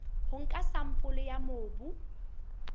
ho nka sampole ya mobu